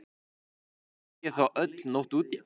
Ekki sé þó öll nótt úti.